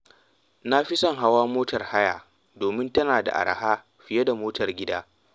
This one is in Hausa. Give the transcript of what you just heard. Na fi son hawa motar haya domin tana da araha fiye da motar gida.